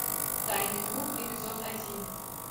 тайный круг эпизод один